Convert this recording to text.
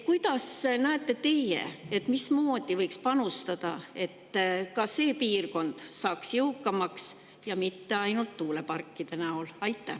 Kuidas näete teie, mismoodi võiks panustada, et ka see piirkond saaks jõukamaks ja mitte ainult tuuleparkide näol?